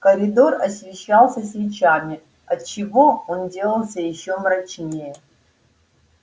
коридор освещался свечами отчего он делался ещё мрачнее